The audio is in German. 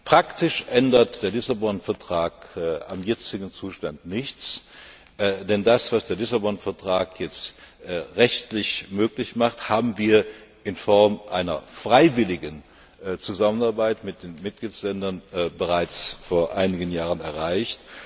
Praktisch ändert der Lissabon Vertrag am jetzigen Zustand nichts, denn das, was der Lissabon Vertrag jetzt rechtlich möglich macht, haben wir in Form einer freiwilligen Zusammenarbeit mit den Mitgliedstaaten bereits vor einigen Jahren erreicht.